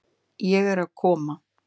Ég er að koma.